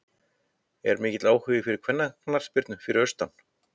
Er mikill áhugi fyrir kvennaknattspyrnu fyrir austan?